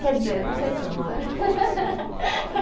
Quer dizer, não sei se eu namoro.